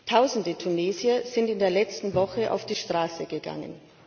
Tausende Tunesier sind in der letzten Woche auf die Straße gegangen.